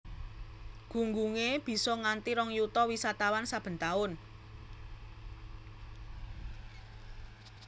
Gunggungé bisa nganti rong yuta wisatawan saben taun